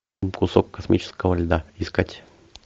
кусок космического льда искать